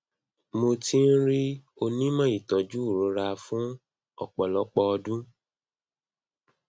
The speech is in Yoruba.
mo ti n rí onímọ ìtọjú ìrora fún ọpọlọpọ ọdún